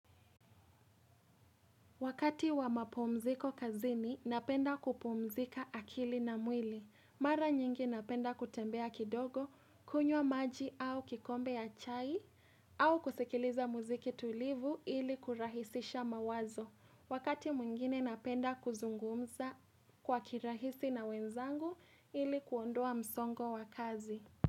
Wakati wa mapumziko kazini, napenda kupumzika akili na mwili. Mara nyingi napenda kutembea kidogo, kunywa maji au kikombe ya chai, au kusikiliza muziki tulivu ili kurahisisha mawazo. Wakati mwingine napenda kuzungumza kwa kirahisi na wenzangu ili kuondoa msongo wa kazi.